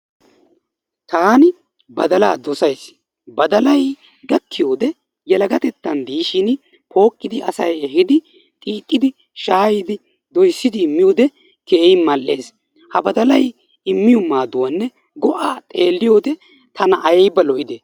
Taani baddalaa dossays. Baddalay gakkiyode yelagatettan de'ishin pooqqidi asay ehiidi xiixxidi shaayidi doyssidi miyode keehin mal"ees. Ha baddalay immiyo maadduwanne go'aa xeeliyode tana ayba lo"ide.